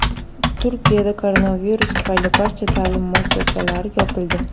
Turkiyada koronavirus tufayli barcha ta’lim muassasalari yopildi.